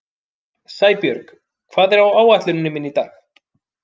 Sæbjörg, hvað er á áætluninni minni í dag?